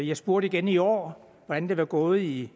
jeg spurgte igen i år hvordan det var gået i